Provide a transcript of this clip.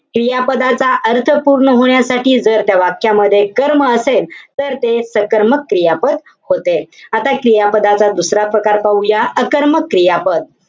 क्रियापदाच्या अर्थ पूर्ण होण्यासाठी, जर त्या वाक्यामध्ये कर्म असेल, तर ते सकर्मक क्रियापद होते. आता क्रियापदाचा दुसरा प्रकार पाहूया. अकर्मक क्रियापद.